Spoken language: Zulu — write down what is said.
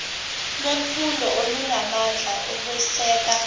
lwemfundo olunamandla okweseka